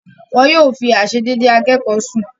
Wọn yóò fi àisédédé akékọ̀ọ́ sùn.